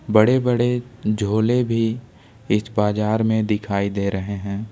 बड़े बड़े झोले भी इस बाजार में दिखाई दे रहे हैं।